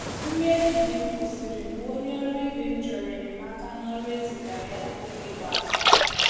Nri ehihie m kwụsịrị mgbe onye ọrụ ibe m chọrọ enyemaka n’ọrụ e zigara ya n’oge ikpeazụ.